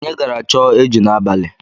Anyị gara chọọ eju n'abalị.